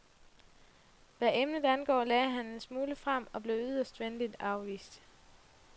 Hvad emnet angår lagde han en smule frem og blev yderst venligt afvist.